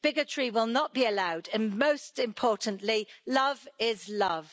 Bigotry will not be allowed and most importantly love is love.